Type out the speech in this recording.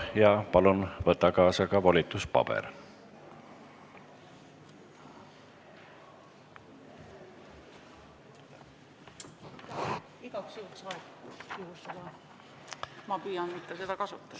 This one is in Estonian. Ja palun võta kaasa ka volituspaber!